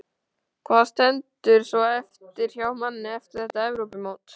Hvað stendur svo eftir hjá manni eftir þetta Evrópumót?